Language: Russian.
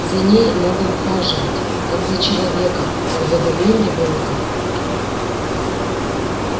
за ней надо ухаживать как за человеком как за больным ребёнком